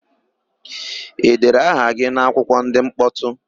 E dere aha gị n'akwụkwọ ndị mkpọtụ?